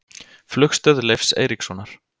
Flugstöð Leifs Eiríkssonar.